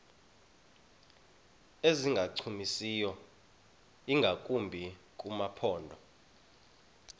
ezingancumisiyo ingakumbi kumaphondo